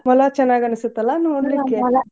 ಮೊಲ ಚನ್ನಾಗಿ ಅನಿಸ್ತೇತಲ್ಲಾ ನೋಡ್ಲಿಕೆ .